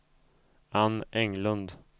Ann Englund